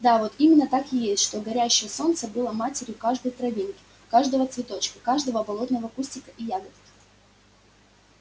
да вот именно так и есть что горячее солнце было матерью каждой травинки каждого цветочка каждого болотного кустика и ягодки